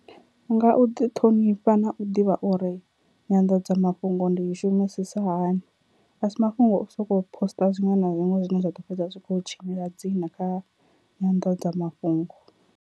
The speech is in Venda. Nga u ḓi ṱhonifha na u ḓivha uri nyanḓadzamafhungo ndi i shumisisa hani, a si mafhungo o soko poster zwiṅwe na zwiṅwe zwine zwa ḓo fhedza zwi kho tshinyela dzina kha nyanḓadzamafhungo.